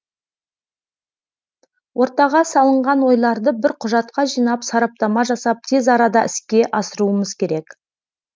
ортаға салынған ойларды бір құжатқа жинап сараптама жасап тез арада іске асыруымыз керек